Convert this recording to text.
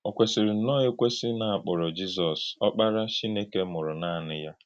Ọ kwèsìrì nnọọ ékwèsì na a kpọ̀rọ̀ Jízọs “Ọ́kpárá Chínèkè mụrụ̀ nànì yá.”